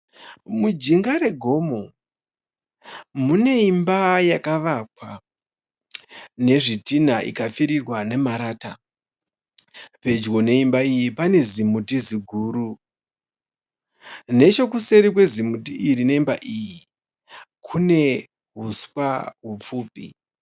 Mujinga regomo mune imba yakavakwa nezvidhina ikapfurirwa nemarata. Pedyo neimba iyi pane zimuti ziguru. Nechekuseri kwezimuti iri nemba iyi kune huswa hupfupi.